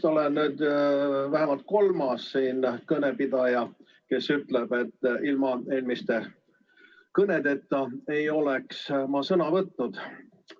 Ma olen vist vähemalt kolmas kõnepidaja, kes ütleb, et ilma eelmiste kõnedeta ei oleks ma sõna võtnud.